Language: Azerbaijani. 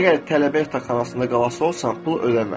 Əgər tələbə yataqxanasında qalası olsan, pul ödəmə.